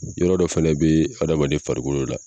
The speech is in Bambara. Yɔrɔ dɔ fana bɛ adamaden farikolo la.